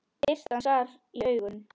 Birtan skar í augun.